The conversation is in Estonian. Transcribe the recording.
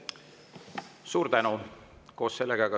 Suur tänu!